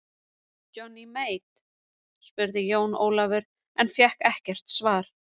Johnny Mate spurði Jón Ólafur en fékk ekkert svar.